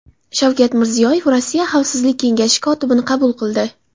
Shavkat Mirziyoyev Rossiya Xavfsizlik kengashi kotibini qabul qildi.